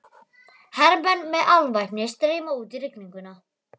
Hermenn með alvæpni streyma út í rigninguna.